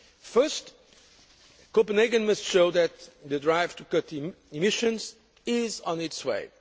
First, Copenhagen must show that the drive to cut emissions is on its way